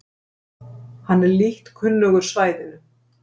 Hann er lítt kunnugur svæðinu